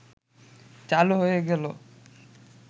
চালু হয়ে গেল